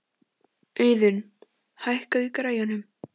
Auðun, hækkaðu í græjunum.